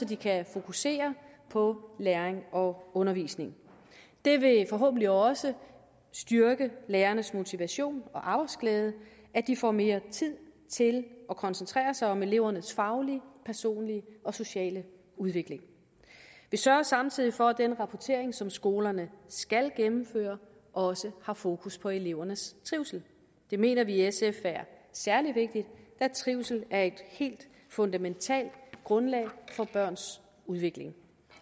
de kan fokusere på læring og undervisning det vil forhåbentlig også styrke lærernes motivation og arbejdsglæde at de får mere tid til at koncentrere sig om elevernes faglige personlige og sociale udvikling vi sørger samtidig for at den rapportering som skolerne skal gennemføre også har fokus på elevernes trivsel det mener vi i sf er særlig vigtigt da trivsel er et helt fundamentalt grundlag for børns udvikling